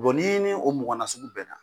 ni ye nin o mɔgɔ nasugu bɛnna,